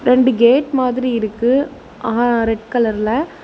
ரெண்டு கேட் மாதிரி இருக்கு ஆ ரெட் கலர்ல .